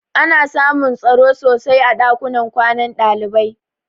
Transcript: Ana samun tsaro sosai a ɗakunan kwanan ɗalibai.